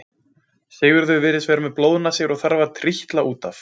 Sigurður virðist vera með blóðnasir og þarf að trítla út af.